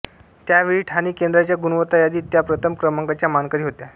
त्यावेळी ठाणे केंद्राच्या गुणवत्ता यादीत त्या प्रथम क्रमांकाच्या मानकरी होत्या